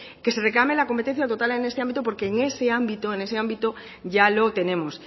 que se reclame la competencia total en el este ámbito porque en ese ámbito ya lo tenemos